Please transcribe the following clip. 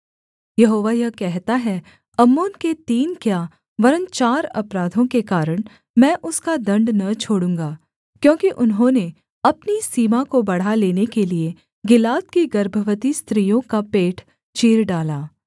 यहोवा यह कहता है अम्मोन के तीन क्या वरन् चार अपराधों के कारण मैं उसका दण्ड न छोड़ूँगा क्योंकि उन्होंने अपनी सीमा को बढ़ा लेने के लिये गिलाद की गर्भवती स्त्रियों का पेट चीर डाला